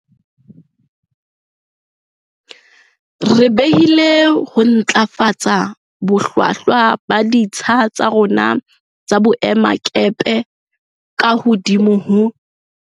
Re behile ho ntlafatsa bohlwahlwa ba ditsha tsa rona tsa boemakepe ka hodimo ho.